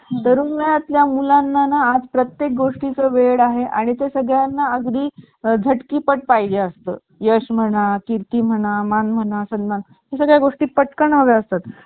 first हे नाव देण्यात आले असून फर्स्ट या laptop चे साडे चोवीस पाऊंड म्हणजे जवळपास बारा किलो इतके वजन होते आणि जेव्हा त्याची पंधराशे डॉलर एवढी किंमत होती